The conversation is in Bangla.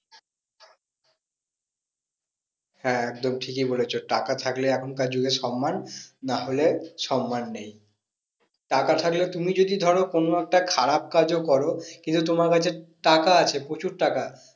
হ্যাঁ একদম ঠিকই বলেছো টাকা থাকলে এখনকার যুগে সন্মান না হলে সন্মান নেই। টাকা থাকলে তুমি যদি ধরো কোনো একটা খারাপ কাজও করো কিন্তু তোমার কাছে টাকা আছে প্রচুর টাকা